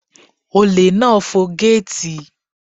Olè náà fọ gẹ́ẹ̀tì.